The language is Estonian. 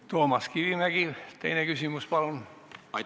Toomas Kivimägi, teine küsimus, palun!